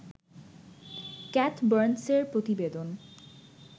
cath বার্নসের প্রতিবেদন